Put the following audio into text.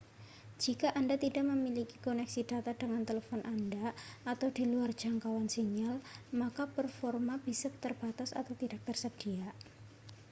jika anda tidak memiliki koneksi data dengan telepon anda atau di luar jangkauan sinyal maka performa bisa terbatas atau tidak tersedia